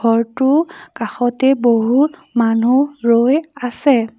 ঘৰটোৰ কাষতে বহু মানুহ ৰৈ আছে।